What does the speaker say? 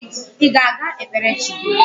Ị ga-aga kpere chi gị?